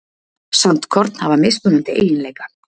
sandkorn hafa mismunandi eiginleika